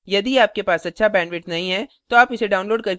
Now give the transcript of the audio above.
यदि आपके पास अच्छा bandwidth नहीं है तो आप इसे download करके देख सकते हैं